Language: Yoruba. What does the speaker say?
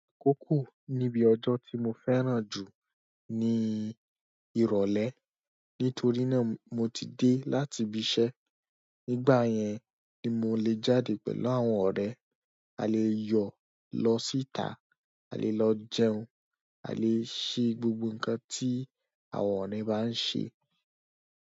AKókó níbi ọjọ́ tí mo fẹ́ràn jù ní ìrọ̀lẹ́ nítorí náà mo ti dé láti ibi iṣẹ́. Nígbà yẹn ni mo lè jáde pẹ̀lú àwọn ọ̀rẹ́, a lè yọ lọ síta, a lè lọ jẹun, a lè ṣe gbogbo nǹkan tí àwọn ọ̀rẹ́ bá ń ṣe.